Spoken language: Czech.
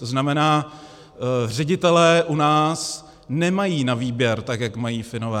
To znamená, ředitelé u nás nemají na výběr, tak jak mají Finové.